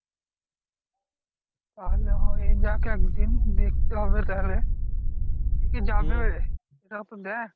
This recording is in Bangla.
তাহলে হয়ে যাক একদিন, দেখতে হবে তাহলে। কে কে যাবে সেটাও তো দেখ।